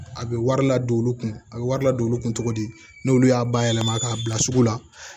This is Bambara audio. A bɛ wari ladon olu kun a bɛ wari ladon olu kun cogo di n'olu y'a bayɛlɛma k'a bila sugu la